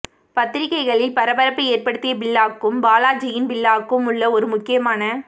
பத்திரிகைகளில் பரபரப்பு ஏற்படுத்திய பில்லாவுக்கும் பாலாஜியின் பில்லாவுக்கும் உள்ள ஒரு முக்கியமான